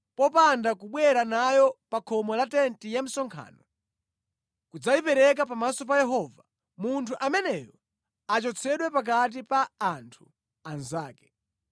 popanda kubwera nayo pa khomo la tenti ya msonkhano kudzayipereka pamaso pa Yehova, munthu ameneyo achotsedwe pakati pa anthu anzake.’ ”